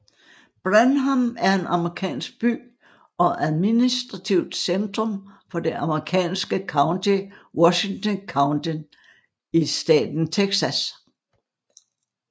Brenham er en amerikansk by og administrativt centrum for det amerikanske county Washington County i staten Texas